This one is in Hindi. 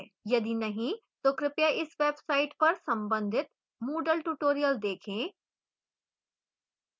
यदि नहीं तो कृपया इस website पर संबंधित moodle tutorials देखें